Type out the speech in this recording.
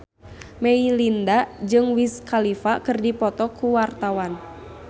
Melinda jeung Wiz Khalifa keur dipoto ku wartawan